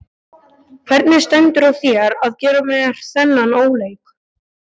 Hvernig stendur á þér að gera mér þennan óleik?